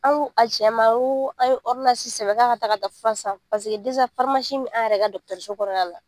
An ko a cɛ ma an ye k'a taa ka taa fura san bɛ an yɛrɛ ka dɔgɔtɔrɔso kɔnɔna la